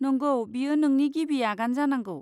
नंगौ, बेयो नोंनि गिबि आगान जानांगौ।